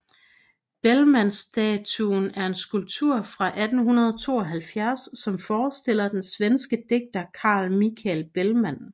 Bellmanstatuen er en skulptur fra 1872 som forestiller den svenske digter Carl Michael Bellman